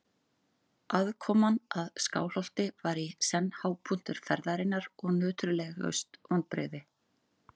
Aðkoman að Skálholti var í senn hápunktur ferðarinnar og nöturlegust vonbrigði.